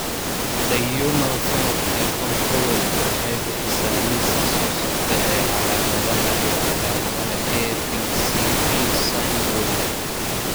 The Human Phenotype Ontology waxay bixisaa liiska soo socda ee calaamadaha iyo calaamadaha ABCD syndrome.